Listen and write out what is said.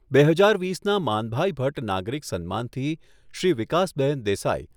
બે હજાર વીસના માનભાઈ ભટ્ટ નાગરિક સન્માનથી શ્રી વિકાસબહેન દેસાઈ